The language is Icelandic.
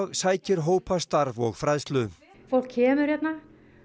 sækir hópastarf og fræðslu fólk kemur hérna